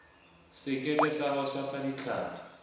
sekepe sa ho tshwasa ditlhapi